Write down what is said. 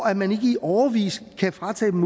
at man i årevis kan fratage dem